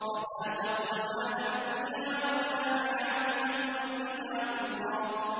فَذَاقَتْ وَبَالَ أَمْرِهَا وَكَانَ عَاقِبَةُ أَمْرِهَا خُسْرًا